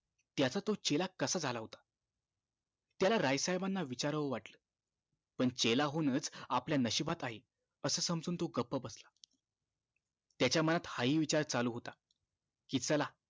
त्याचा तो चेला कसा झाला होता त्याला राय साहेबांना विचारावं वाटलं पण चेला होणंच आपल्या नशिबात आहे असं समजून तो गप बसला त्याच्या मनात हा हि विचार चालू होता कि चला